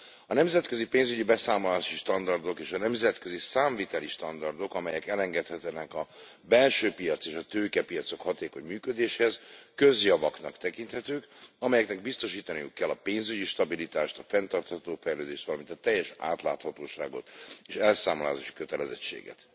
A nemzetközi pénzügyi beszámolási standardok és a nemzetközi számviteli standardok, amelyek elengedhetetlenek a belső piac és a tőkepiacok hatékony működéséhez, közjavaknak tekinthetők, amelyeknek biztosítaniuk kell a pénzügyi stabilitást, a fenntartható fejlődést, valamint a teljes átláthatóságot és elszámolási kötelezettséget.